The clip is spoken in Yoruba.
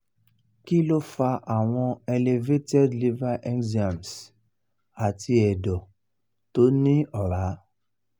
kí ló fa àwọn elevated liver enzymes àti ẹ̀dọ̀ tó ní ọ̀rá?